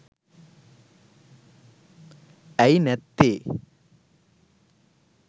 ඇයි නැත්තේ.